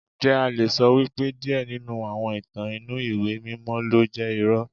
Ǹjẹ́ a le sọ wípé díẹ̀ nínú àwọn ìtàn inú ìwé mímọ́ ló jẹ́ irọ́?